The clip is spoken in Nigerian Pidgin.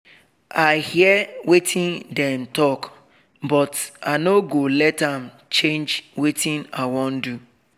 i hear wetin dem talk but i nor go let am change wetin i wan do